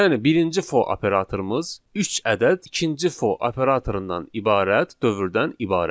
Yəni birinci for operatorumuz üç ədəd ikinci for operatorundan ibarət dövrdən ibarətdir.